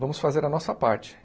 Vamos fazer a nossa parte.